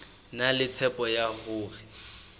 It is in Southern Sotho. na le tshepo ya hore